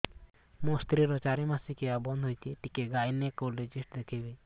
ମୋ ସ୍ତ୍ରୀ ର ଚାରି ମାସ ମାସିକିଆ ବନ୍ଦ ହେଇଛି ଟିକେ ଗାଇନେକୋଲୋଜିଷ୍ଟ ଦେଖେଇବି